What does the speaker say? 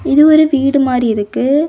இது ஒரு வீடு மாரி இருக்கு.